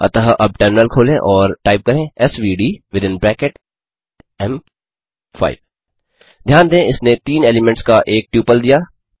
अतः अब टर्मिनल खोलें और टाइप करें एसवीडी विथिन ब्रैकेट्स एम5 ध्यान दें इसने 3 एलीमेंट्स का एक ट्यूपल दिया